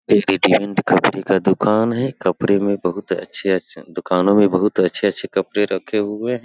एक कपड़े का दुकान है कपड़े में बहुत अच्छे-अच्छे दुकानों में बहुत अच्छे-अच्छे कपड़े रखे हुए हैं।